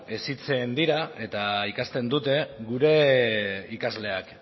hezitzen dira eta ikasten dute gure ikasleak